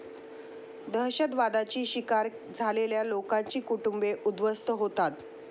दहशतवादाची शिकार झालेल्या लोकांची कुटुंबे उद्ध्वस्त होतात.